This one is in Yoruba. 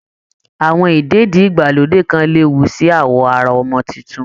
Àwọn ìdèdí-ìgbàlódé kan léwu sí awọ ara ọmọ tuntun